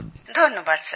ধন্যবাদ স্যার